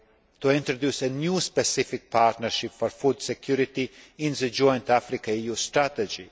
to introduce a new specific partnership for food security in the joint Africa EU strategy.